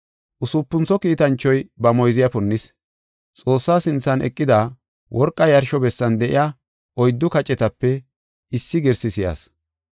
Usupuntho kiitanchoy ba moyziya punnis. Xoossaa sinthan eqida, worqa yarsho bessan de7iya oyddu kacetape issi girsi si7as.